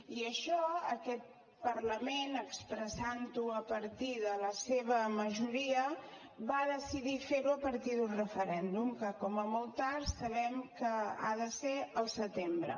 i això aquest parlament expressant ho a partir de la seva majoria va decidir fer ho a partir d’un referèndum que com a molt tard sabem que ha de ser al setembre